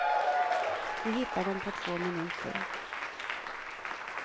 Du hittar dem på två minuter.